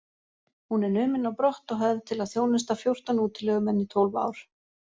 Hún er numin á brott og höfð til að þjónusta fjórtán útilegumenn í tólf ár.